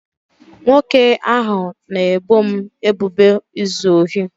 nwoke ahụ na-ebo m ebubo izu ohi